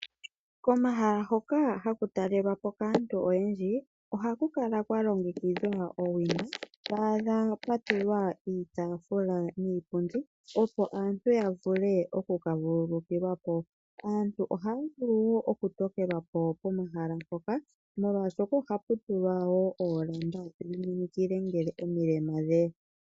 Komahala hoka haku talelwapo kaantu oyendji, oha kukala kwalogekidhwa owina, twadha pwatulwa iitafula niipundi opo aantu ya vule okuka vululikilwapo. Aantu ohaya vulu oku tokelwapo pomahala mpoka, omolwashoka hapu tulwa wo olamba dhiminikila ngele omilema dheya.